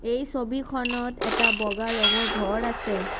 এই ছবিখনত এটা বগা ৰঙৰ ঘৰ আছে।